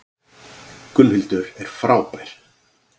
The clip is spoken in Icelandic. Gunnhildur er frábær.